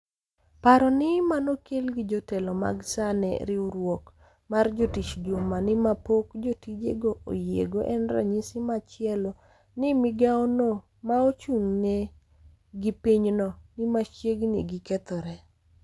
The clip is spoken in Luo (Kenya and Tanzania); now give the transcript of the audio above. Paro ni manokel gi jotelo mag SAA ne riwruok mar jotich juma ni ma pok jotijego oyiego en ranyisi machielo ni migaono maochung'ne gi pinyno ni machiegni gi kethore.